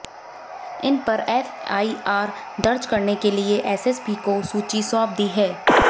इन पर एफआईआर दर्ज करने के लिए एसएसपी को सूची सौंप दी है